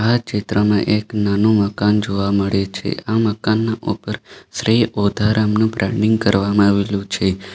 આ ચિત્રમાં એક નાનું મકાન જોવા મળે છે આ મકાન ના ઉપર શ્રી ઓઢવરામ નું બ્રાન્ડિંગ કરવામાં આવેલું છે.